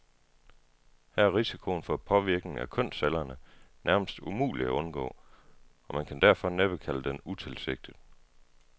Her er risikoen for påvirkning af kønscellerne nærmest umulig at undgå, og man kan derfor næppe kalde den utilsigtet.